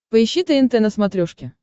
поищи тнт на смотрешке